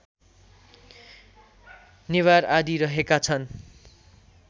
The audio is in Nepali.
नेवार आदि रहेका छन्